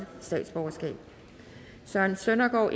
otte søren søndergaard